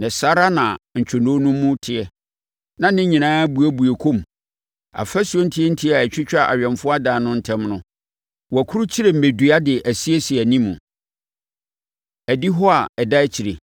na saa ara na ntwonoo no mu teɛ, na ne nyinaa buebue kɔ mu. Afasuo ntiatia a ɛtwitwa awɛmfoɔ adan no ntam no, wɔakurukyire mmɛdua de asiesie anim. Adihɔ A Ɛda Akyire